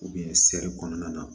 seri kɔnɔna na